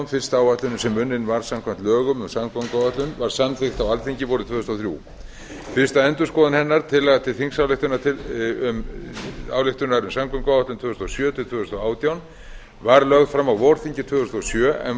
fyrsta áætlunin sem unnin var samkvæmt lögum um samgönguáætlun var samþykkt á alþingi vorið tvö þúsund og þrjú fyrsta endurskoðun hennar tillaga til þingsályktunar um samgönguáætlun tvö þúsund og sjö til tvö þúsund og átján var lögð fram á vorþingi tvö þúsund og sjö en